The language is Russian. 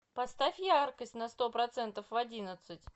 поставь яркость на сто процентов в одиннадцать